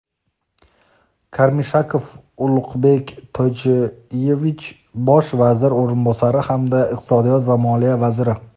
Karmishakov Uluqbek Toychuyevich Bosh vazir o‘rinbosari hamda Iqtisodiyot va moliya vaziri;.